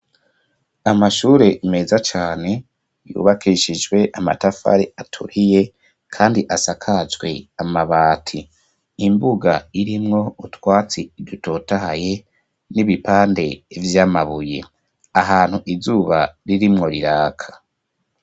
Amashure meza cane yubakishijwe amatafari aturiye kandi asakajwe amabati. Imbuga irimwo utwatsi dutotahaye n'ibipande vy'amabuye. Ahantu izuba ririmwo riraka;